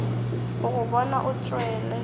go go bona o tšwele